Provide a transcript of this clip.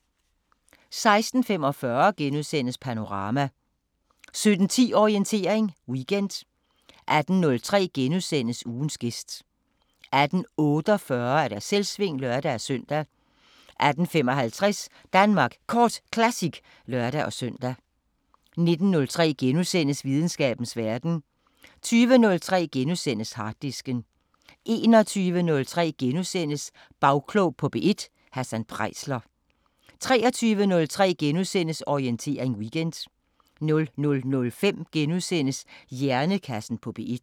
16:45: Panorama * 17:10: Orientering Weekend 18:03: Ugens gæst * 18:48: Selvsving (lør-søn) 18:55: Danmark Kort Classic (lør-søn) 19:03: Videnskabens Verden * 20:03: Harddisken * 21:03: Bagklog på P1: Hassan Preisler * 23:03: Orientering Weekend * 00:05: Hjernekassen på P1 *